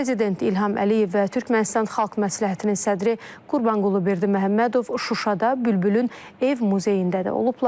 Prezident İlham Əliyev və Türkmənistan Xalq Məsləhətinin sədri Qurbanqulu Berdiməhəmmədov Şuşada Bülbülün ev muzeyində də olublar.